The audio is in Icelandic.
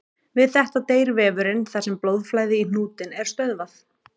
Við þetta deyr vefurinn þar sem blóðflæði í hnútinn er stöðvað.